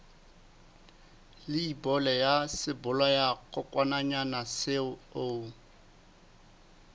leibole ya sebolayakokwanyana seo o